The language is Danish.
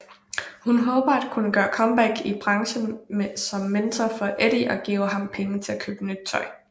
Hun håber at kunne gøre comeback i branchen som mentor for Eddie og giver ham penge til at købe tøj